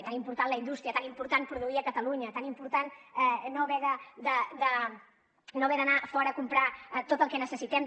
tan important la indústria tan important produir a catalunya tan important no haver d’anar fora a comprar tot el que necessitem